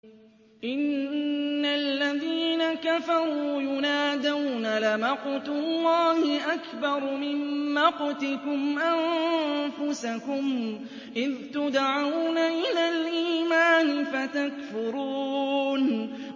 إِنَّ الَّذِينَ كَفَرُوا يُنَادَوْنَ لَمَقْتُ اللَّهِ أَكْبَرُ مِن مَّقْتِكُمْ أَنفُسَكُمْ إِذْ تُدْعَوْنَ إِلَى الْإِيمَانِ فَتَكْفُرُونَ